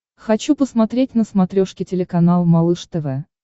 хочу посмотреть на смотрешке телеканал малыш тв